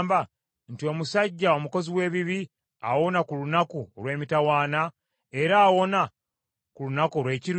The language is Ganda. nti omusajja omukozi w’ebibi awona ku lunaku olw’emitawaana, era awona ku lunaku olw’ekiruyi?